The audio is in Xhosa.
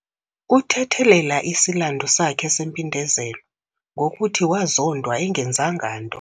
Uthethelela isilandu sakhe sempindezelo ngokuthi wazondwa engenzanga nto.